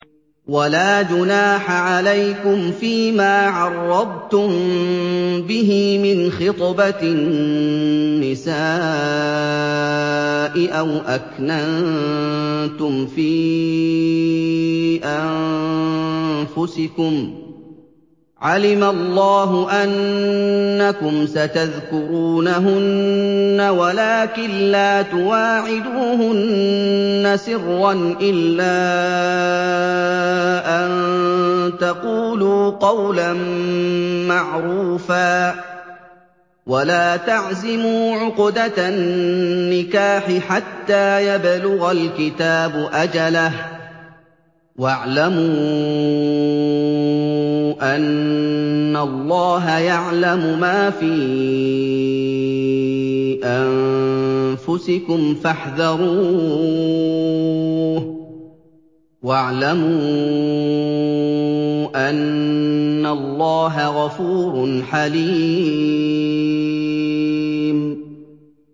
وَلَا جُنَاحَ عَلَيْكُمْ فِيمَا عَرَّضْتُم بِهِ مِنْ خِطْبَةِ النِّسَاءِ أَوْ أَكْنَنتُمْ فِي أَنفُسِكُمْ ۚ عَلِمَ اللَّهُ أَنَّكُمْ سَتَذْكُرُونَهُنَّ وَلَٰكِن لَّا تُوَاعِدُوهُنَّ سِرًّا إِلَّا أَن تَقُولُوا قَوْلًا مَّعْرُوفًا ۚ وَلَا تَعْزِمُوا عُقْدَةَ النِّكَاحِ حَتَّىٰ يَبْلُغَ الْكِتَابُ أَجَلَهُ ۚ وَاعْلَمُوا أَنَّ اللَّهَ يَعْلَمُ مَا فِي أَنفُسِكُمْ فَاحْذَرُوهُ ۚ وَاعْلَمُوا أَنَّ اللَّهَ غَفُورٌ حَلِيمٌ